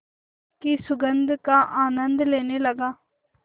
की सुगंध का आनंद लेने लगा